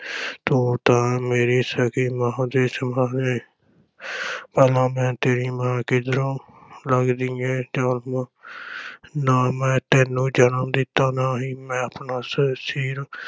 ਤੂੰ ਤਾਂ ਮੇਰੀ ਸਕੀ ਮਾਂ ਦੇ ਸਮਾਨ ਏਂ ਭਲਾ ਮੈਂ ਤੇਰੀ ਮਾਂ ਕਿਧਰੋਂ ਲਗਦੀ ਆਂ ਜ਼ਾਲਮਾ ਨਾ ਮੈਂ ਤੈਨੂੰ ਜਨਮ ਦਿੱਤਾ ਨਾ ਹੀ ਆਪਣਾ ਸ~ ਸੀਰ